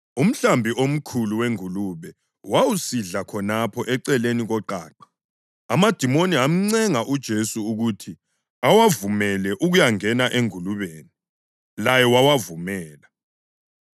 Umhlambi omkhulu wengulube wawusidla khonapho eceleni koqaqa. Amadimoni amncenga uJesu ukuthi awavumele ukuyangena engulubeni, laye wawavumela.